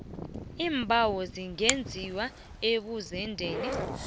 iimbawo zingenziwa ebuzendeni